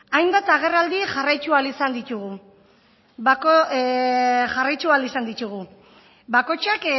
hainbat agerraldi jarraittu ahal izan dittugu bakotxak